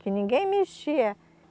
Que ninguém mexia.